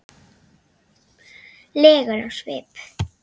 legur á svip.